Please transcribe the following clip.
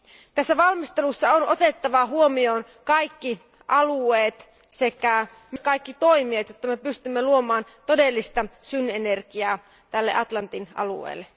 Tässä valmistelussa on otettava huomioon kaikki alueet sekä kaikki toimijat, jotta me pystymme luomaan todellista synergiaa tälle Atlantin alueelle.